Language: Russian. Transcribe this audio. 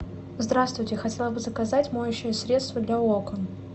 здравствуйте хотела бы заказать моющее средство для окон